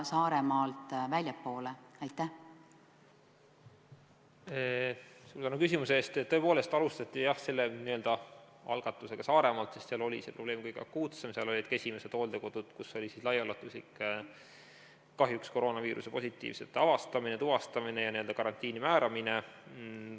Tõepoolest alustati selle algatusega Saaremaalt, sest seal oli see probleem kõige akuutsem, seal olid ka esimesed hooldekodud, kus kahjuks laiaulatuslikult avastati ja tuvastati koroonaviirusesse nakatunuid ja määrati nad karantiini.